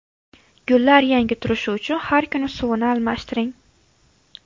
Gullar yangi turishi uchun har kuni suvini almashtiring.